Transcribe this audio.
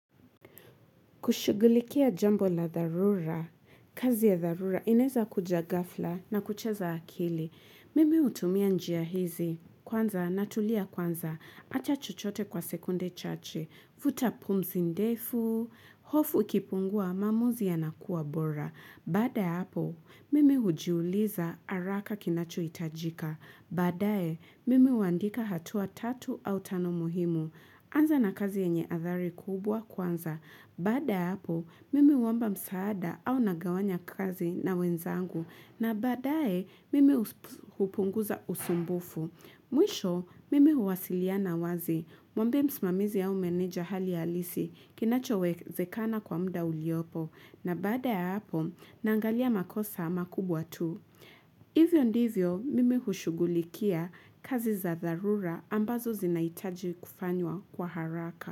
Kushugulikia jambo la tharura, kazi ya tharura inaweza kuja gafla na kucheza akili. Mimi hutumia njia hizi, kwanza natulia kwanza, acha chuchote kwa sekunde chache, vutapumzi ndefu, hofu kipungua maamuzi ya nakuwa bora. Bada ya hapo, mimi hujiuliza haraka kinacho hitajika. Baadae, mimi huandika hatua tatu au tano muhimu. Kwanza na kazi enye athari kubwa kwanza. Bada ya hapo, mimi huomba msaada au nagawanya kazi na wenzangu. Na baadae, mimi hupunguza usumbufu. Mwisho mimi huwasiliana wazi mwambie msimamizi au meneja hali halisi kinachowezekana kwa muda uliopo na bada ya hapo naangalia makosa makubwa tu. Hivyo ndivyo mimi hushugulikia kazi za tharura ambazo zinaitaji kufanywa kwa haraka.